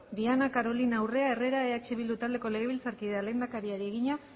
diana carolina urrea herrera eh bildu taldeko legebiltzarkideak lehendakariari egina